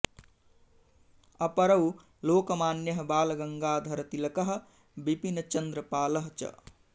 अपरौ लोकमान्यः बालगङ्गाधर तिलकः बिपिन् चन्द्र पालः च